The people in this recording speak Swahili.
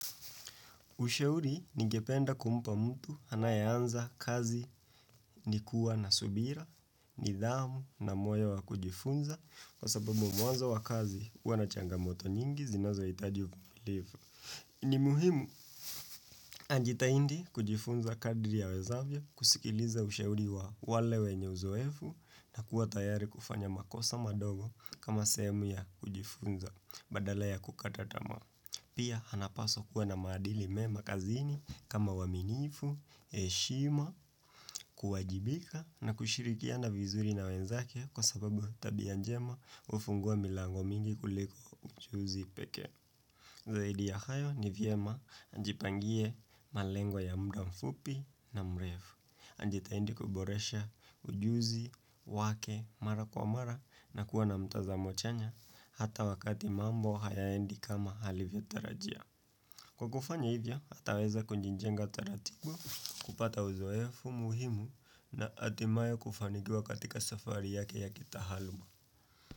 Ushauri ningependa kumpa mtu anaye anza kazi ni kuwa na subira, ni dhamu na moyo wa kujifunza kwa sababu mwanzo wa kazi huwa na changamoto nyingi zinazo hitaji uvumilivu. Ni muhimu najitahindi kujifunza kadri yawezavyo kusikiliza ushauri wa wale wenye uzoefu na kuwa tayari kufanya makosa madogo kama sehemu ya kujifunza badala ya kukata tamaa. Pia hanapaswa kuwa na maadili mema kazini kama waminifu heshima, kuwajibika na kushirikiana vizuri na wenzake kwa sababu tabia njema hufungua milango mingi kuliko ujuzi pekee Zaidi ya hayo ni vyema anjipangie malengwo ya mda mfupi na mrefu. Anjitaindi kuboresha ujuzi, wake, mara kwa mara na kuwa na mtazamo chanya hata wakati mambo hayaendi kama halivya tarajia. Kwa kufanya hivyo, ataweza kunjijenga taratibu, kupata uzoefu muhimu na atimayo kufanikiwa katika safari yake ya kita haluma.